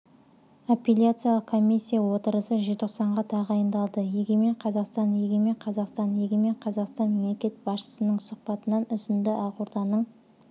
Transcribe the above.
аппеляциялық комиссия отырысы желтоқсанға тағайындалды егемен қазақстан егемен қазақстан егемен қазақстан мемлекет басшысының сұхбатынан үзінді ақорданың